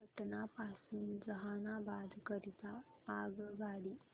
पटना पासून जहानाबाद करीता आगगाडी